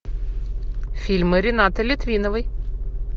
фильмы ренаты литвиновой